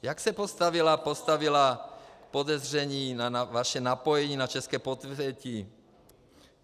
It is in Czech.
Jak se postavila podezření na vaše napojení na české podsvětí?